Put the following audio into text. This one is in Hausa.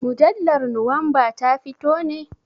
Mujallar nowamba ta fito ne?